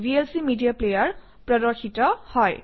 VLC media player প্ৰদৰ্শিত হয়